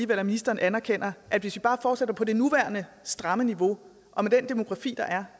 at ministeren anerkender at hvis vi bare fortsætter på det nuværende stramme niveau og med den demografi der